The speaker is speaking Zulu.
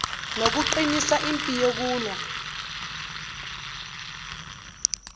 nokuqinisa impi yokulwa